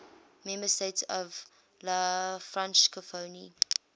member states of la francophonie